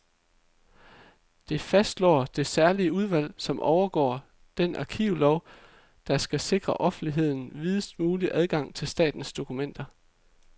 Det fastslår det særlige udvalg, som overvåger den arkivlov, der skal sikre offentligheden videst mulig adgang til statens dokumenter.